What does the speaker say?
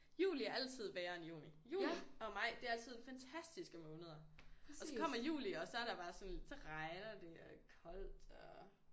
Juli er altid værre end juni. Juni og maj det er altid fantastiske måneder og så kommer juli og så er der bare sådan så regner det og er koldt og